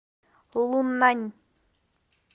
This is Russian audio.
луннань